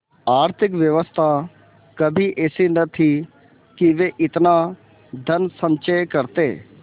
आर्थिक व्यवस्था कभी ऐसी न थी कि वे इतना धनसंचय करते